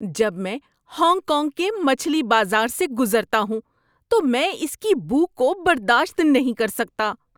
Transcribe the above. جب میں Hong Kong کے مچھلی بازار سے گزرتا ہوں تو میں اس کی بو کو برداشت نہیں کر سکتا۔